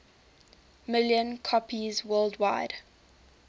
million copies worldwide